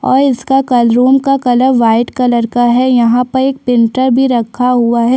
और इसका क रूम का कलर वाइट कलर का है और यहाँ पर एक प्रिंटर भी रखा हुआ हैं।